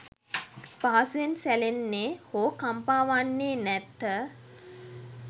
පහසුවෙන් සැලෙන්නේ, හෝ කම්පා වන්නේ නැත.